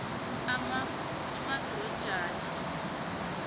amadrojana